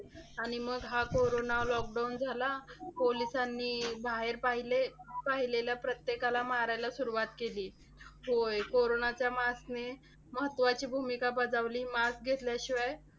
आणि मग हा कोरोना lockdown झाला. पोलिसांनी बाहेर पाहिले. पाहिलेल्या प्रत्येकाला मारायला सुरुवात केली. होय, कोरोनाच्या mask ने महत्वाची भूमिका बजावली. Mask घेतल्याशिवाय